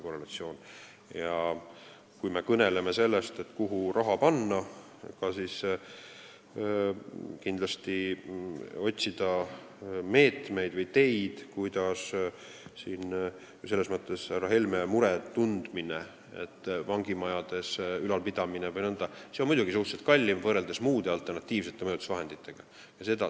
Kui me kõneleme sellest, kuhu raha panna, siis selles mõttes on õige härra Helme mure, et vangimajade ülalpidamine on muidugi suhteliselt kallim, võrreldes muude, alternatiivsete mõjutusvahenditega.